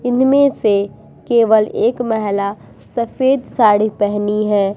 इनमे से केवल एक महिला सफ़ेद साड़ी पहनी है ।